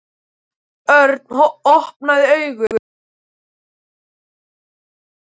Þegar Örn opnaði augun mætti hann spyrjandi augnaráði foreldra sinna.